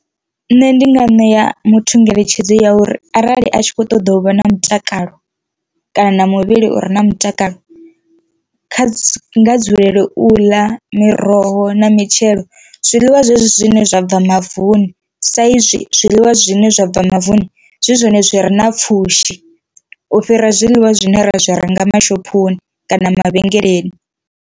Nṋe ndi nga ṋea muthu ngeletshedzo ya uri arali a tshi kho ṱoḓa u vha na mutakalo kana muvhili u re na mutakalo kha nga dzulele u ḽa miroho na mitshelo, zwiḽiwa zwezwi zwine zwa bva mavuni sa izwi zwiḽiwa zwine zwa bva mavuni zwi zwone zwi re na pfhushi u fhira zwiḽiwa zwine ra zwi renga mashophoni kana mavhengeleni.